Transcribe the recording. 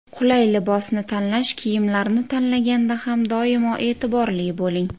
Qulay libosni tanlash Kiyimlarni tanlaganda ham doimo e’tiborli bo‘ling.